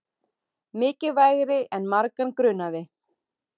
Mikilvægari en margan grunaði